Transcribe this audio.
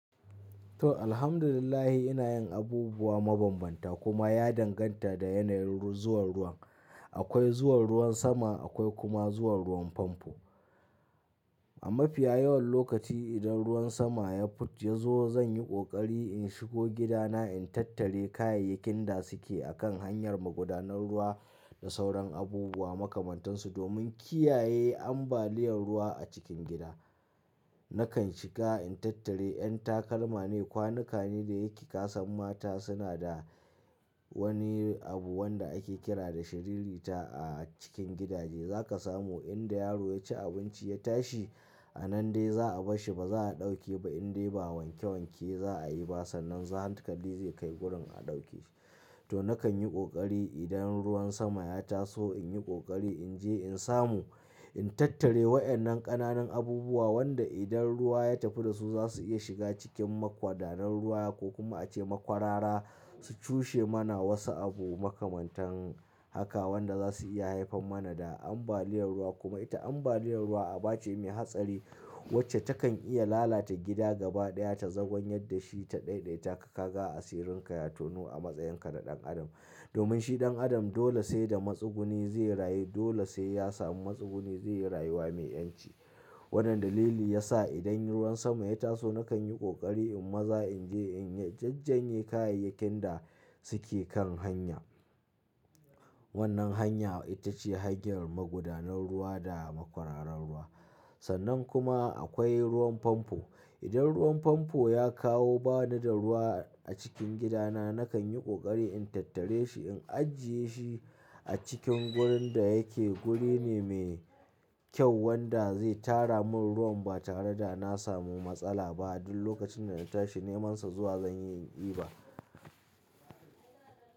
To Alhamdulillah ina yin abubuwa mabambanta kuma ya danganta da yanayin ru-- zuwan ruwan. Akwai zuwan ruwan sama akwai kuma zuwan ruwan famfo. A mafiya yawan lokaci idan ruwan sama ya fuc-- ya zo zan yi ƙoƙari in shigo gidana in tattare kayayyakin da suke akan hanyar magudanar ruwa. Da sauran abubuwa makamantansu domin kiyaye ambaliyar ruwa a cikin gida. Nakan shiga in tattare yan takalma ne kwanuka ne da yake ƙasan mata suna da. Wani abu wanda ake kira da shiririta a cikin gidaje za ka samu inda yaro ya ci abinci ya tashi. A nan dai za a bashshi ba za a ɗauke ba indai ba wanke wanke za a yi ba sannan zahant kari zai kai gurin a ɗauke shi. To nakan yi ƙoƙari idan ruwan sama ya taso in yi ƙoƙari in je in samu in tattare wayannan ƙananan abubuwa wanda idan ruwa ya tafi da su za su iya shiga cikin magwadanan ruwa ko kuma a ce makwarara. Su cushe mana wasu abu makamantan haka wanda za su iya haifar mana da ambaliyar ruwa kuma ita ambaliyar ruwa aba ce mai hatsari. Wacce takan iya lalata gida gaba ɗaya ta zagwan yadda shi ta daidaita ka kaga asirinka ya tonu a matsayinka na ɗan adam. Domin shi ɗan adam dole sai da matsuguni zai rayu dole sai ya samu matsuguni zai yi rayuwa mai ƴanci. Waɗannan dalili ya sa idan ruwan sama ya taso nakan yi ƙoƙari in maza in je in jajjenye kayayyakin da suke kan hanya. Wannan hanya ita ce hanyar magudanar ruwa da makwararan ruwa. Sannan kuma akwai ruwan famfo. Idan ruwan famfo ya kawo bani da ruwa a cikin gidana nakan yi ƙoƙari in tattare shi in ajiye shi a cikin gurin da yake guri ne mai kyau wanda zai tara mun ruwan ba tare da na samu matsala ba duk lokacin dana tashi nemansa zuwa zanyi in iba.